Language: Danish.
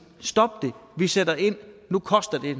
stop det vi sætter ind nu koster det